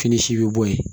Fini si bɛ bɔ yen